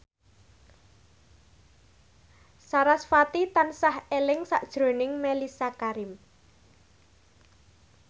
sarasvati tansah eling sakjroning Mellisa Karim